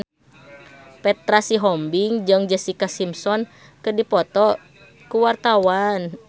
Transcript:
Petra Sihombing jeung Jessica Simpson keur dipoto ku wartawan